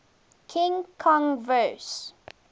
king kong vs